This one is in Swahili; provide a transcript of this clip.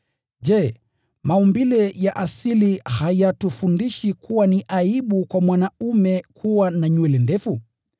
Je, maumbile ya asili hayatufundishi kuwa ni aibu kwa mwanaume kuwa na nywele ndefu?